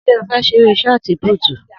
Sé ó fé seré sọti púútu